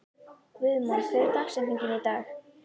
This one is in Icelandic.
Guðmon, hver er dagsetningin í dag?